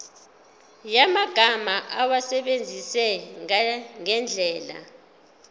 yamagama awasebenzise ngendlela